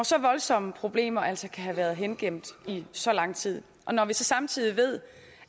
så voldsomme problemer altså kan have været hengemt i så lang tid og når vi samtidig ved